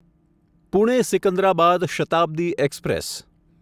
Pune Secunderabad Shatabdi express